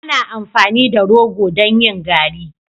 Ana amfani da rogo don yin garri.